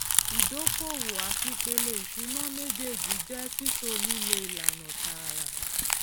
ìdókòwò àti ìpele ìṣúná méjèèjì jẹ títò lílo ìlànà tààrà